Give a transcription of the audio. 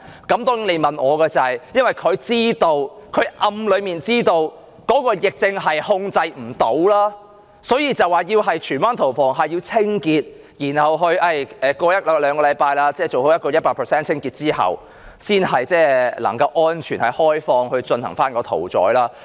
如果問我原因，我會說政府暗中已經知道疫症無法控制，所以說荃灣屠房要進行清潔，用一兩個星期時間做好 100% 清潔後才能開放，才可安全地進行屠宰。